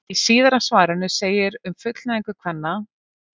Í síðara svarinu segir um fullnægingu kvenna: